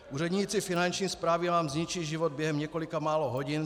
Úředníci Finanční správy vám zničí život během několika málo hodin.